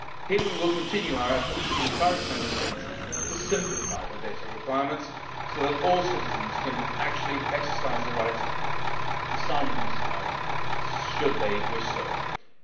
Here we will continue our efforts to encourage Member States to simplify their data requirements so that all citizens can actually exercise the right to sign an ECI, should they wish to do